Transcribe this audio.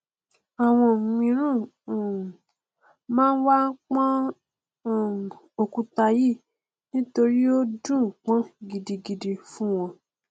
àwọn míràn um máa n wá pọn um òkúta yìí ni nítorí ó dùnún pọn gidigidi fún wọn